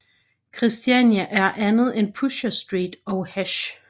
Christiania er andet end Pusher Street og hash